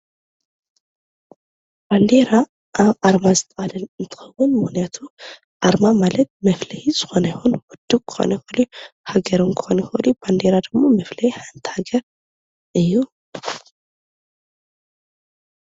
ባንዴራ ኣብ ኣርማ ዝተማለአ እንትኸውን ምኽንያቱ ኣርማ ማለት መፍለዪ ዝኾነ ይኹን ውድብ ክኾን ይኽእል፣ ሃገር ውን ክኾን ይኽእል ባንዴራ ድማ መፍለዪ ሓንቲ ሃገር እዩ።